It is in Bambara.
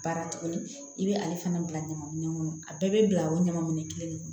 Baara tuguni i bɛ ale fana bila ɲamanminɛ kɔnɔ a bɛɛ bɛ bila o ɲaman minɛ kelen de kɔnɔ